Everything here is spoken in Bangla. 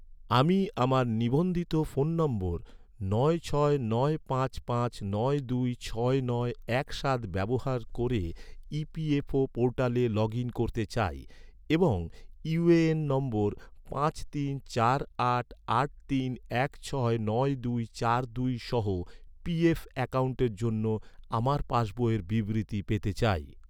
আমি আমার নিবন্ধিত ফোন নম্বর নয় ছয় নয় পাঁচ পাঁচ নয় দুই ছয় নয় এক সাত ব্যবহার ক’রে, ই.পি.এফ.ও ​​পোর্টালে লগ ইন করতে চাই এবং ইউ.এ.এন নম্বর পাঁচ তিন চার আট আট তিন এক ছয় নয় দুই চার দুই সহ পি.এফ অ্যাকাউন্টের জন্য আমার পাস বইয়ের বিবৃতি পেতে চাই